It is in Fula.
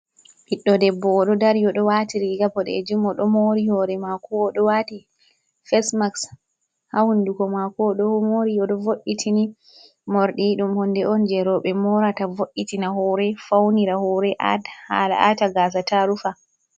Ɓiɗɗo debbo oɗo dari, oɗo wati riga boɗejum, oɗo mori hore mako oɗo wati fesmaks ha hunduko mako, oɗo mori oɗo vo'itini. Morɗi ɗum hunde on je roɓe morata vo'itina hore, faunira hore atad haala ata gasa ta rufa.